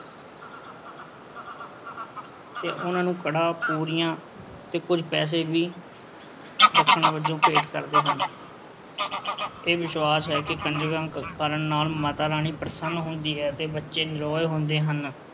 ਤੇ ਉਨ੍ਹਾਂ ਨੂੰ ਕੜਾਹ, ਪੂਰੀਆਂ ਤੇ ਕੁਝ ਪੈਸੇ ਵੀ ਦਕਸ਼ਨਾ ਵਜੋਂ ਭੇਟ ਕਰਦੇ ਹਨ। ਇਹ ਵਿਸ਼ਵਾਸ ਹੈ ਕਿ ਕੰਜਕਾਂ ਕਰਨ ਨਾਲ ਮਾਤਾ ਰਾਣੀ ਪ੍ਰਸੰਨ ਹੁੰਦੀ ਹੈ ਅਤੇ ਬੱਚੇ ਨਰੋਏ ਹੁੰਦੇ ਹਨ।